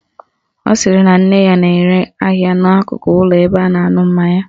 Ọ sịrị na nne ya na-ere ahịa n'akụkụ ụlọ ebe a na-aṅụ mmanya